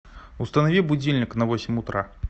установи будильник на восемь утра